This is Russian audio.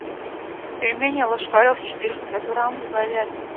пельмени ложкарев четыреста грамм с говядиной